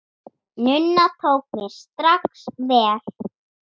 Nunna tók mér strax vel.